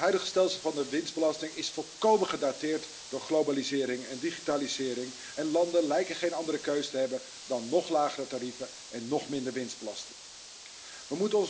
Het huidige stelsel van de winstbelasting is volkomen gedateerd door globalisering en digitalisering en landen lijken geen andere keus te hebben dan nog lagere tarieven en nog minder winstbelasting te hanteren.